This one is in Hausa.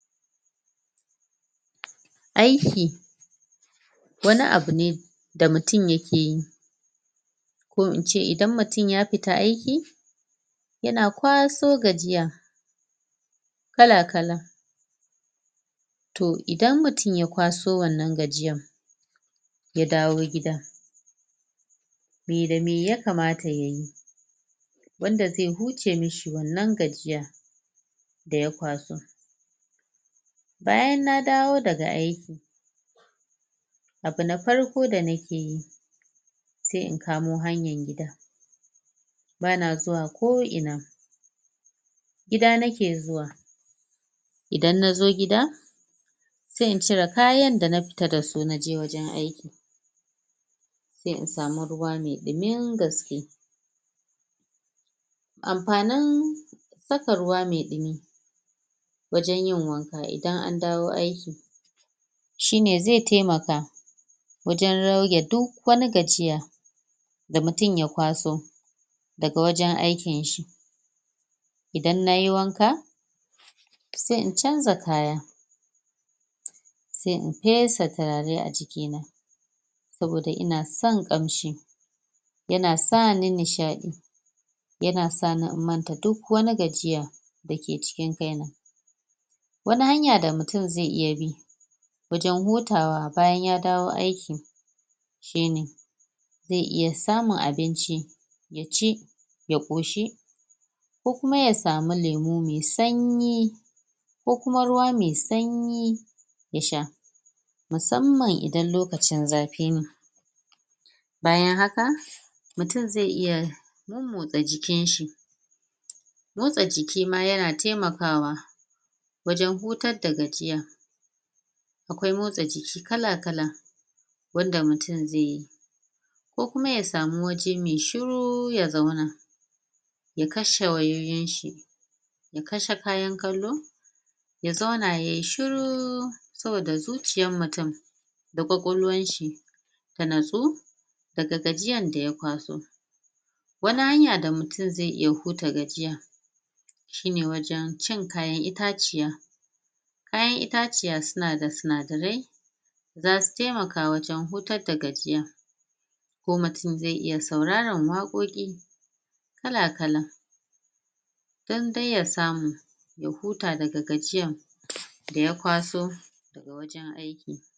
Aiki wani abu ne da mutun yake yi ko ince idan mutun yafita aiki yana kwaso gajiya kala kala to idan mutun ya kwaso wannan gajiyan yadawo gida me da me ya kamata yayi wanda ze huce mishi wannan gajiyan da ya kwaso bayan na dawo daga aiki abu na farko da nakeyi se in kamo hanyan gida bana zuwa ko ina gida nake zuwa idan nazo gida se in cire kayan da nafita dasu naje gurin aiki se in same ruwa me ɗimin gaske amfanin dafa ruwa me ɗumi wajan yin wanka idan andawo aiki shine ze temaka wajan rage duk wani gajiya da mutun yakwaso daga wajan aikin shi idan nayi wanka se in canja kaya se in fesa tirare a jikina saboda inason ƙamshi yana sani nishaɗi yana sani in manta duk wani gajiya dake cikin kaina wani hanya da mutun ze iya bi wajan hutawa bayan yadawo aiki? ze iya samun abinci yaci ya ƙoshi ko kuma yasama lemu me sanyi ko kuma ruwa me sanyi yasha musamman idan lokacin zafine bayan haka mutun ze iya motsa jikinshi motsa jikima yana temakawa wajan hutar da gajiya akwai motsa jiki kala kala wanda mutun zeyi ko kuma yasamu waje me shiru ya zauna ya kashe wayoyin shi ya kashe kayan kallo ya zauna yayi shiru saboda zuciyan mutun da ƙwakolwan shi ta natsu daga gajiyan da ya kwaso wani hanya da mutun ze iya huta gajiya sheine wajan cin kayan ita ciya itaciya sunada sinadarai zasu temaka wajan hutar da gajiya ko mutun ze iya sauraran waƙoƙi kala kala dan dai yasamu ya huta daga gajiyan da ya ƙwaso